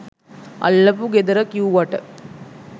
අල්ලපු ගෙදර කිව්වට